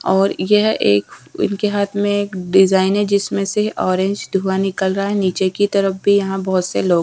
और यह एक इनके हाथ में एक डिज़ाइन है जिसमें से ऑरेंज धुंआ निकल रहा है नीचे की तरफ भी यहाँ बोहोत से लोग --